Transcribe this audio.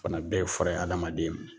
Fana bɛɛ ye fura ye hadamaden ma.